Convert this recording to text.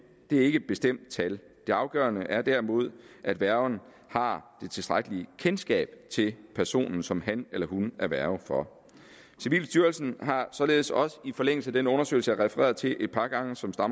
ikke et bestemt tal det afgørende er derimod at værgen har det tilstrækkelige kendskab til personen som han eller hun er værge for civilstyrelsen har således også i forlængelse af den undersøgelse refereret til et par gange som